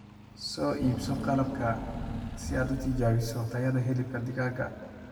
Soo iibso qalabka si aad u tijaabiso tayada hilibka digaaga.